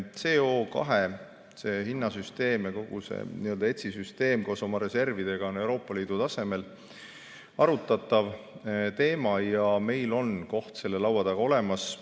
CO2 hinna süsteem ja kogu see ETS‑süsteem koos oma reservidega on Euroopa Liidu tasemel arutatav teema ja meil on koht selle laua taga olemas.